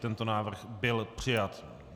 Tento návrh byl přijat.